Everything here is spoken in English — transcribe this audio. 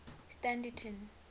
standerton